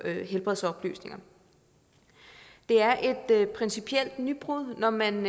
helbredsoplysninger det er et principielt nybrud når man